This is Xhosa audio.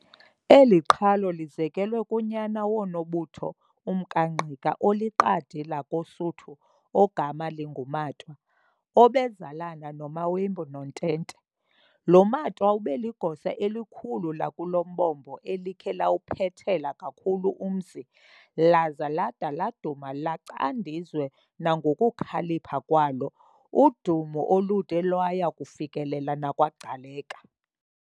Eli qhalo lizekelwe kunyana woNobutho, umkaNgqika, oliqadi lakoSuthu, ogama linguMatwa, obezalana noMaembu noTente. Lo Matwa ubeligosa elikhulu lakulombombo elikhe lawuphethela kakhulu umzi, laza lada laduma lacandizwe nangokukhalipha kwalo, udumo olude lwaya kufikelela nakwaGcaleka.